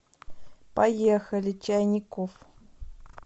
поехали чайникофф